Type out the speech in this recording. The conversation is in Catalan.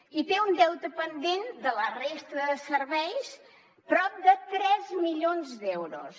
i té un deute pendent de la resta de serveis de prop de tres milions d’euros